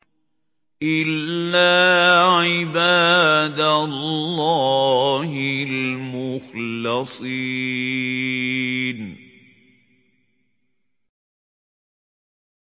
إِلَّا عِبَادَ اللَّهِ الْمُخْلَصِينَ